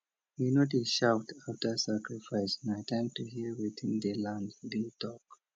we no dey shout after sacrifice na time to hear wetin di land dey talk